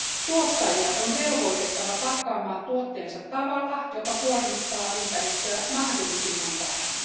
Tuottajia on velvoitettava pakkaamaan tuotteensa tavalla, joka kuormittaa ympäristöä mahdollisimman vähän.